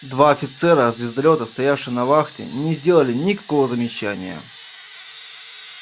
два офицера звездолёта стоявшие на вахте не сделали никакого замечания